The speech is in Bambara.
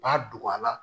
U b'a don a la